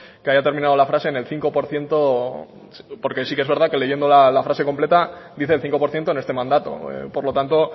que haya terminado la frase en el cinco por ciento porque sí que es verdad que leyendo la frase completa dice el cinco por ciento en este mandato por lo tanto